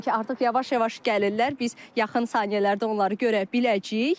Qeyd edim ki, artıq yavaş-yavaş gəlirlər, biz yaxın saniyələrdə onları görə biləcəyik.